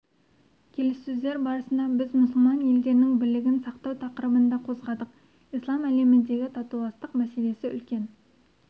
келіссөздер барысында біз мұсылман елдерінің бірлігін сақтау тақырыбын да қозғадық ислам әлеміндегі татуластық мәселесі үлкен